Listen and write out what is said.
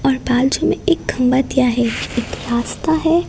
और बाजू में एक खंबा दिया है एक रास्ता है।